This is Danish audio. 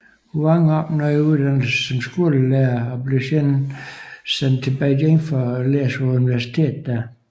Huang opnåede uddannelse som skolelærer og blev senere sendt til Beijing for læse på universitetet der